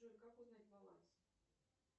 джой как узнать баланс